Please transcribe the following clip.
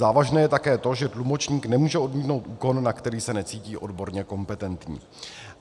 Závažné je také to, že tlumočník nemůže odmítnout úkon, na který se necítí odborně kompetentní.